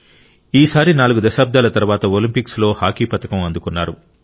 ఈసారి నాలుగు దశాబ్దాల తర్వాత ఒలింపిక్స్ లో హాకీ పతకం అందుకున్నారు